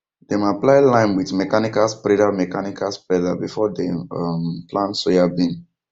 dem apply lime with mechanical spreader mechanical spreader before dem um plant soybean